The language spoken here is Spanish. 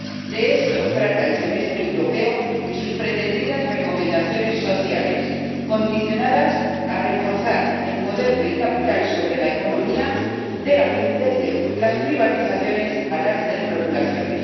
De esto trata el Semestre Europeo y sus pretendidas recomendaciones sociales, condicionadas a reforzar el poder del capital sobre la economía, desde las privatizaciones hasta las desregulaciones.